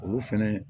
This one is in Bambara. Olu fɛnɛ